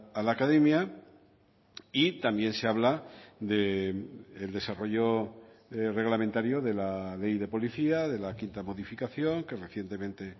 a la academia y también se habla del desarrollo reglamentario de la ley de policía de la quinta modificación que recientemente